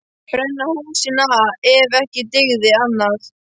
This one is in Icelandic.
Brenna húsin ef ekki dygði annað.